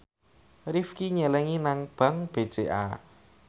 Rifqi nyelengi nang bank BCA